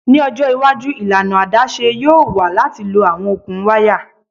Ni ojo iwaju ilana adaṣe yoo wa lati lo awọn okun waya